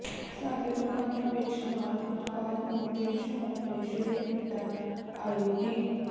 ਸਾਡੇ ਦੁਕਾਨਾ ਵਿੱਚ ਨਾਲ ਉਤਪਾਦ ਨੂੰ ਪੇਸ਼ ਹੋਣ ਲਈ ਸ਼ੁਰੂ ਕੀਤਾ ਆਇਓਡੀਨ